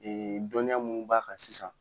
dɔnniya mun b'a kan sisan.